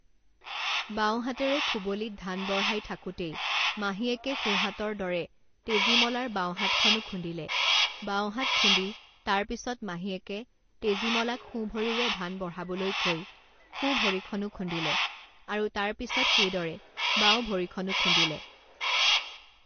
বাওঁহাতেৰে খুবলিত ধান বঢ়াই থাকোঁতেই মাহীয়েকে সোঁহাতৰ দৰে তেজীমলাৰ বাওঁ হাতখনো খুন্দিলে, বাওঁহাত খুন্দি তাৰপিছত মাহীয়েকে তেজীমলাক সোঁ ভৰিৰে ধান বঢ়াবলৈ কৈ সোঁ ভৰিখনো খুন্দিলে আৰু তাৰ পিছত সেইদৰে বাওঁভৰিখনো খুন্দিলে।